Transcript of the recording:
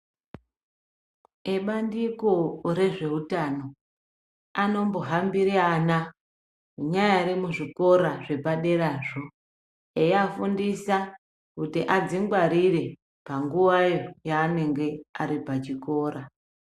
Ebandiko rezveutano anombohambire ana neaari muzvikora zvepaderazvo eiafundisa kuti adzingwarire panguwa yaanenge ari pachikora.